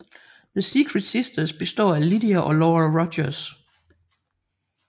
The Secret Sisters består af Lydia og Laura Rogers